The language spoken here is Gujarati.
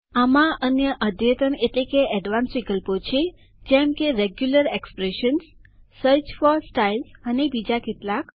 આમાં અન્ય અદ્યતન એડવાંસ્ડ વિકલ્પો છે જેમ કે regular expressions search for styles અને બીજા કેટલાક